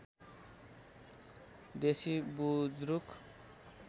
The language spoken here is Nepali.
देशी बुज्रुक